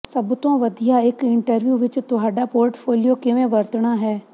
ਸਭ ਤੋਂ ਵਧੀਆ ਇਕ ਇੰਟਰਵਿਊ ਵਿਚ ਤੁਹਾਡਾ ਪੋਰਟਫੋਲੀਓ ਕਿਵੇਂ ਵਰਤਣਾ ਹੈ